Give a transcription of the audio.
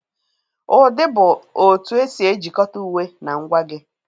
Ụdị bụ otu esi ejikọta uwe na ngwa gị.